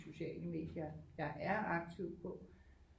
Sociale medie jeg er aktiv på